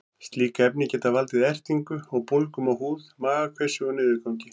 Slík efni geta valdið ertingu og bólgum á húð, magakveisu og niðurgangi.